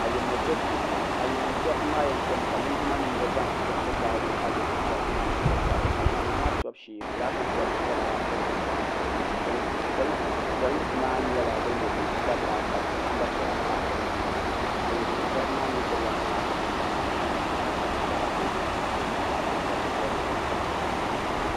ayirimo tobu shee n boŋo ayirimo toribi maa yɛn tomi ka linjima nim ŋo zaŋ kuriti gaari ayirimo toribi maa ni bi di gari ayirimo maa tobu shee fulaaki bobli nyɛla din bɛ dinni polinsi maa nyɛla bin yɛ neen sabila ka namba piɛla pa bi nyaanga ayirimo toribi maa mii gbubila fulaaki nim kamani amɛrika fulaaki ni fulaaki bobli bobli din pahi dizuɣu